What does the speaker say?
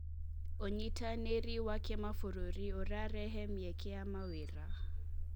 ũnyitanĩri wa kĩmabũrũri ũrarehe mĩeke ya mawĩra.